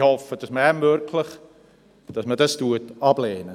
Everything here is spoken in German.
Ich möchte festhalten: